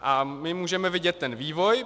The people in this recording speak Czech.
A my můžeme vidět ten vývoj.